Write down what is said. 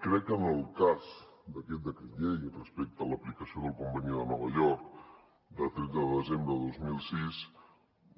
crec que en el cas d’aquest decret llei respecte a l’aplicació del conveni de nova york de tretze de desembre de dos mil sis